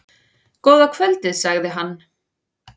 Góða kvöldið, segir hann.